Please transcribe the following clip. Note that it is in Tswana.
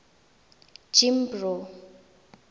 jimbro